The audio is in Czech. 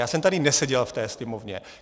Já jsem tady neseděl v té Sněmovně.